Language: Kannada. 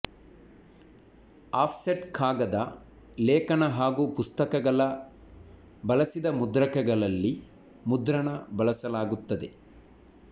ಆಫ್ಸೆಟ್ ಕಾಗದ ಲೇಖನ ಹಾಗೂ ಪುಸ್ತಕಗಳ ಬಳಸಿದ ಮುದ್ರಕಗಳಲ್ಲಿ ಮುದ್ರಣ ಬಳಸಲಾಗುತ್ತದೆ